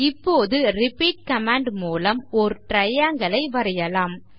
இப்போது repeat command மூலம் ஓர் triangle ஐ வரையலாம்